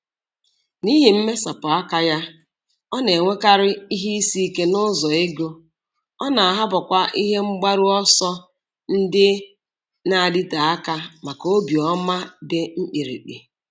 N'ihi mmesapụ aka ya, ọ na-enwekarị ihe isi ike n'ụzọ ego, ọ na-ahapụkwa ihe mgbaru ọsọ ndị na-adịte aka maka obiọma dị mkpirikpi.